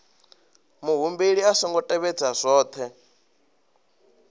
muhumbeli a songo tevhedza zwohe